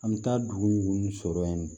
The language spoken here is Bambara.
An bɛ taa dugu minnu sɔrɔ yen